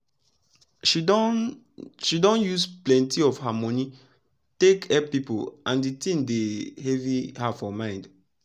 she don she don use plenti of her moni take epp pipu and d tin dey heavy her for mind